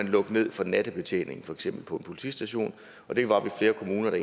lukke ned for nattebetjeningen på en politistation det var vi flere kommuner der